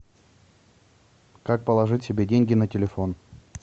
как положить себе деньги на телефон